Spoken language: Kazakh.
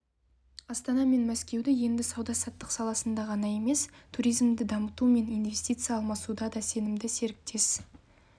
астана мен мәскеу енді сауда-саттық саласында ғана емес туризмді дамыту мен инвестиция алмасуда да сенімді серіктес